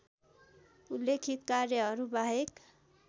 उल्लेखित कार्यहरू बाहेक